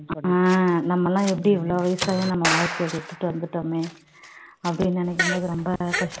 ஆஹ் நம்ம எல்லாம் எப்படி இவ்ளோ வயசாகியும் நம்ம வாழ்க்கையை விட்டுட்டு வந்துட்டோமே அப்படின்னு நினைக்கும் போது ரொம்ப